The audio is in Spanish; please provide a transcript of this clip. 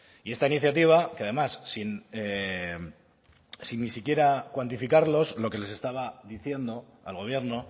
y esta iniciativa que además sin ni siquiera cuantificarlos lo que les estaba diciendo al gobierno